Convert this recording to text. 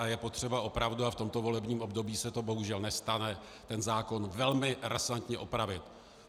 A je potřeba opravdu, a v tomto volebním období se to bohužel nestane, tento zákon velmi razantně opravit.